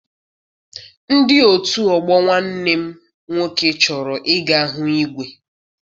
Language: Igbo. Ndị otu ọgbọ nwanne m nwoke chọrọ I ga hụ igwe.